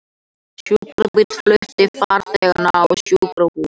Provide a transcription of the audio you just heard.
Sjúkrabíll flutti farþegann á sjúkrahús